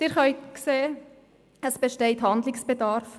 Sie sehen: Es besteht Handlungsbedarf.